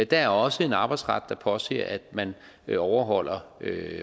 der er også en arbejdsret der påser at man overholder